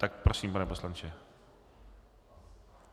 Tak prosím, pane poslanče.